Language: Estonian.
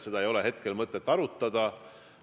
Seda ei olnud siis mõtet arutada.